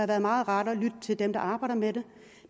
været meget rart at lytte til dem der arbejder med det